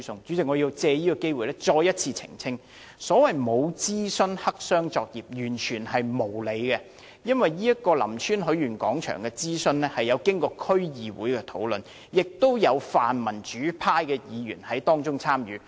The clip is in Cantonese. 主席，我要藉此機會再次澄清，所謂沒有諮詢、黑箱作業，完全是無理的指控，因為林村許願廣場的諮詢工作曾經過區議會的討論，亦有泛民主派的區議員參與其中。